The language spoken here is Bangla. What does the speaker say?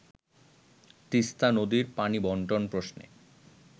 তিস্তা নদীর পানি বন্টন প্রশ্নে